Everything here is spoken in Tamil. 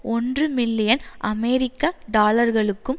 ஒன்று மில்லியன் அமெரிக்க டாலர்களுக்கும்